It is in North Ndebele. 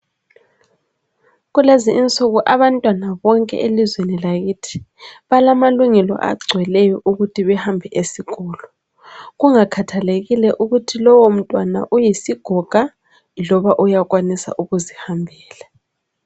Kulezinsuku abantwana bonke elizweni lakithi balamalungelo agcweleyo okuthi bahambe esikolo kungakhathalekile ukuthi lowo mntwana uyisigoga loba uyakwanisa ukuzihambela.